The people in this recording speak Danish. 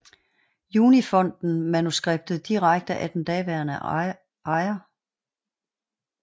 Juni Fonden manuskriptet direkte af den daværende ejer